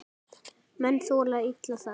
Menn þola illa það.